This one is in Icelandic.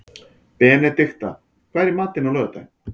Benedikta, hvað er í matinn á laugardaginn?